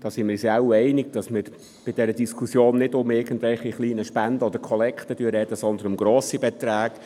Hier sind wir uns wohl darin einig, dass wir in dieser Diskussion nicht über irgendwelche kleinen Spenden oder Kollekten sprechen, sondern über grosse Beträge.